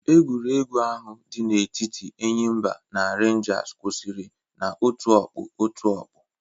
Egwuregwu ahụ di na-etiti Enyimba na Renjas kwụsịrị na-otu ọkpụ otu ọkpụ.